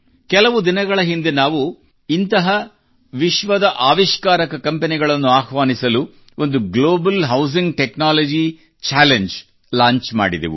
ಕೆಲವು ದಿನಗಳ ಹಿಂದೆ ನಾವು ಇಂತಹ ವಿಶ್ವದ ಆವಿಷ್ಕಾರಕ ಕಂಪೆನಿಗಳನ್ನು ಆಹ್ವಾನಿಸಲು ಒಂದು global housing technology challenge launch ಮಾಡಿದೆವು